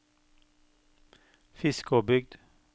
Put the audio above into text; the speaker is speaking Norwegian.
Fiskåbygd